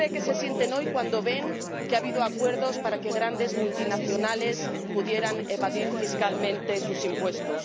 cómo cree que se sienten hoy, cuando ven que ha habido acuerdos para que grandes multinacionales pudieran evadir fiscalmente sus impuestos?